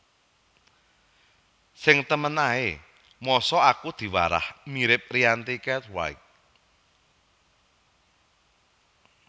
Sing temen ae mosok aku diwarah mirip Rianti Cartwright